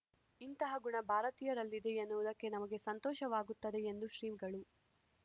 ಇಂತಹ ಗುಣ ಭಾರತೀಯರಲ್ಲಿದೆ ಎನ್ನುವುದಕ್ಕೆ ನಮಗೆ ಸಂತೋಷವಾಗುತ್ತದೆ ಎಂದು ಶ್ರೀಗಳು